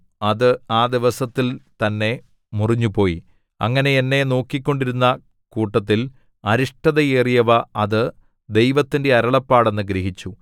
അത് ആ ദിവസത്തിൽ തന്നെ മുറിഞ്ഞുപോയി അങ്ങനെ എന്നെ നോക്കിക്കൊണ്ടിരുന്ന കൂട്ടത്തിൽ അരിഷ്ടതയേറിയവ അത് ദൈവത്തിന്റെ അരുളപ്പാട് എന്നു ഗ്രഹിച്ചു